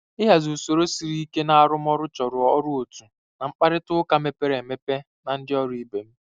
Ịhazi usoro siri ike na arụmọrụ chọrọ ọrụ otu na mkparịta ụka mepere emepe na ndị ndị ọrụ ibe m.